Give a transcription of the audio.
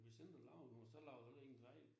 Dig selv der laver noget så laver du jo heller ingen fejl